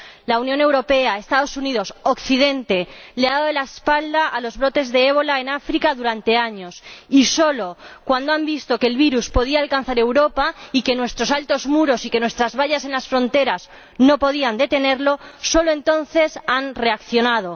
La Unión Europea, los Estados Unidos, Occidente, le han dado la espalda a los brotes de ébola en África durante años y solo cuando han visto que el virus podía alcanzar Europa y que nuestros altos muros y que nuestras vallas en las fronteras no podían detenerlo, solo entonces han reaccionado.